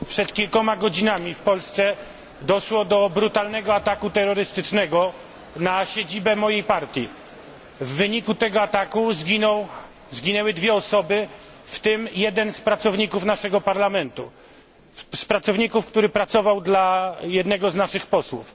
Przed kilkoma godzinami w Polsce doszło do brutalnego ataku terrorystycznego na siedzibę mojej partii. W wyniku tego ataku zginęły dwie osoby, w tym jeden z pracowników naszego Parlamentu, który pracował dla jednego z naszych posłów.